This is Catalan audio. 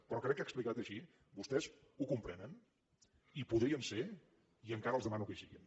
però crec que explicat així vostès ho comprenen hi podrien ser i encara els demano que hi siguin